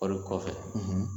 Kɔɔri kɔfɛ